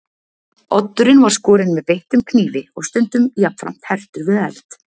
Oddurinn var skorinn með beittum knífi og stundum jafnframt hertur við eld.